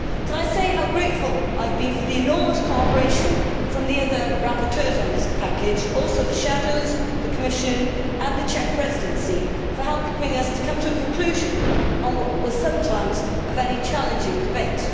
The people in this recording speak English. Let me say how grateful I have been for the enormous cooperation from the other rapporteurs on this package, as well as from the shadows, the Commission and the Czech Presidency, for helping us to come to a conclusion on what was sometimes a very challenging debate.